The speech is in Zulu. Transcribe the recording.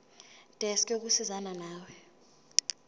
desk yokusizana nawe